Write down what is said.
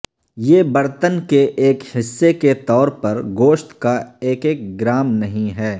یہ برتن کے ایک حصے کے طور پر گوشت کا ایک ایک گرام نہیں ہے